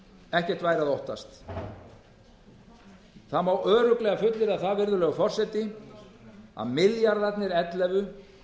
ekkert væri að óttast það má örugglega fullyrða það virðulegur forseti að milljarðarnir ellefu